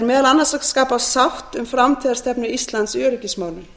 er meðal annars að skapa sátt um framtíðarstefnu íslands í öryggismálum